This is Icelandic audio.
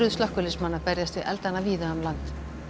slökkviliðsmanna berjast við eldana víða um land